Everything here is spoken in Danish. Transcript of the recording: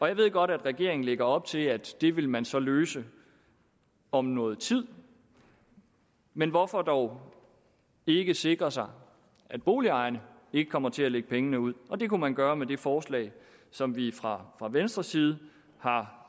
jeg ved godt at regeringen lægger op til at det vil man så løse om noget tid men hvorfor dog ikke sikre sig at boligejerne ikke kommer til at lægge pengene ud og det kunne man gøre med det forslag som vi fra venstres side har